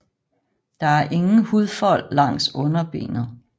Der er ingen hudfold langs underbenet